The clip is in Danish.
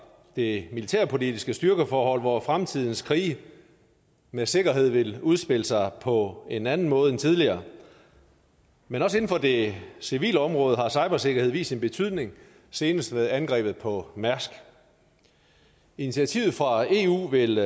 det militærpolitiske styrkeforhold hvor fremtidens krige med sikkerhed vil udspille sig på en anden måde end tidligere men også inden for det civile område har cybersikkerhed vist sin betydning senest ved angrebet på mærsk initiativet fra eu vil